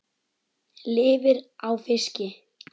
Lifir á fiski.